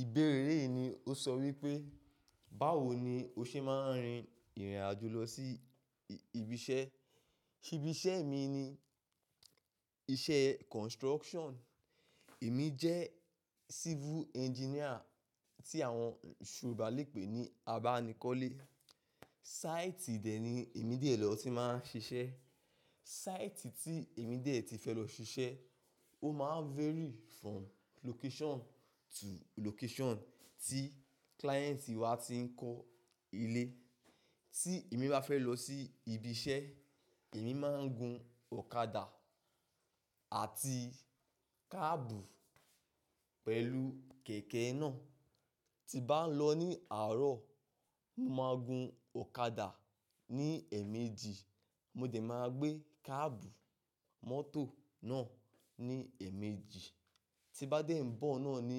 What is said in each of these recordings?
Ìbéèrè yìí ni ó sọ wípé, báwo ni o ṣe máa ń rin ìrìn àjò lọ sí ibi iṣẹ́? Ibi iṣẹ́ mi ni iṣẹ́ construction. Èmi jẹ́ civil engineer tí àwọn Yorùbá lè pè ní abánikọ́lé. Site de ni èmi de lọ ti máa ń ṣiṣẹ́. Site tí èmi dẹ̀ ti fẹ́ lọ ṣiṣẹ́, ó máa n vary from location to location tí client wa ti ń kọ́ ilé. Tí èmi bá fẹ́ lọ sí ibi iṣẹ́, èmi máa ń gun ọ̀kadà àti káàbù pẹ̀lú kẹ̀kẹ́ náà. Tí bá ń lọ ní àárọ̀, mo máa gun ọ̀kadà ní ẹ̀ẹ̀mejì, mo díẹ̀ máa gbé káàbù mọ́tò náà ní ẹ̀ẹ̀mejì. Tí n bá dé ń bọ̀ náà ní,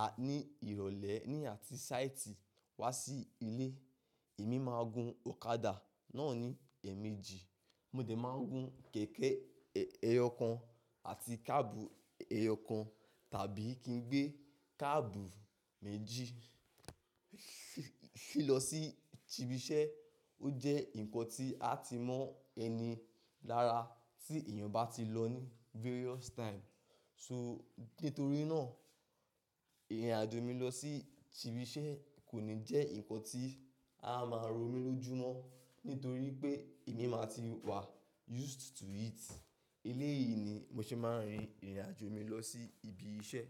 à, ní ìrọ̀lẹ́ ní àti site wá sí ilé, èmi máa gun ọ̀kadà náà ní ẹ̀ẹ̀mejì, mo díẹ̀ máa gun kẹ̀kẹ́ ẹyọkan àti káàbù ẹyọkan tàbí kí n gbé káàbù méjì fí lọ sí ibi iṣẹ́. Ó jẹ́ ǹkan tí a ti mọ́ ẹni lára tí èèyàn bá ti lọ ní various time. So nítorí náà, ìrìn àjò mi lọ sí ibi iṣẹ́ kò ní jẹ́ ǹkan tí a máa ro mí lójú mọ́, nítorí pé èmi máa ti wà used to it. Elé yìí ni mo ṣe máa ń rin ìrìn àjò mi lọ sí ibi iṣẹ́.